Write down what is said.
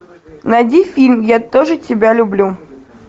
найди фильм я тоже тебя люблю